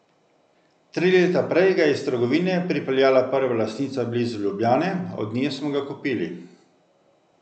Tri leta prej ga je iz trgovine pripeljala prva lastnica blizu Ljubljane, od nje smo ga kupili.